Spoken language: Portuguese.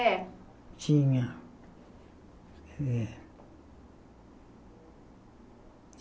É. Tinha. É